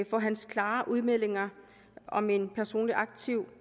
for hans klare udmeldinger om en personlig aktiv